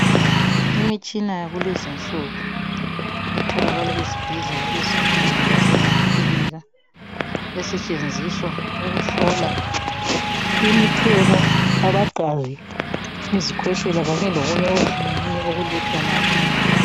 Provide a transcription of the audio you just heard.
Imitshina yakulezi nsuku itholakala ezibhedlela ezinkulu lasemakilinika esetshenziswa ukuhlola imichemo, lamagazi, izikhwehlela kanye lokunye okuhlukeneyo okulethwa lapha.